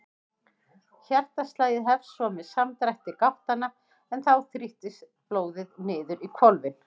Hjartaslagið hefst svo með samdrætti gáttanna en þá þrýstist blóðið niður í hvolfin.